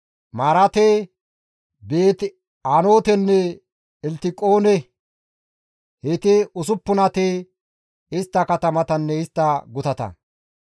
Maarate, Beeti-Anootenne Elttiqoone; heyti usuppunati istta katamatanne istta gutata.